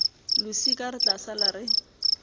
losika re tla sala re